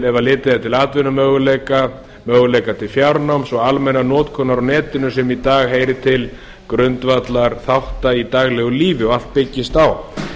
ef litið er til atvinnumöguleika möguleika til fjarnáms og almennrar notkunar á netinu sem í dag heyrir til grundvallarþátta í daglegu lífi og allt byggist á